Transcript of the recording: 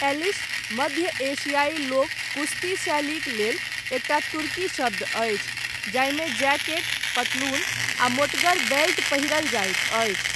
Eilish, मध्य एशियाइ लोक कुश्ती शैलीक लेल, एकटा तुर्की शब्द अछि, जाहिमे जैकेट, पतलून आ मोटगर बेल्ट पहिरल जाइत अछि।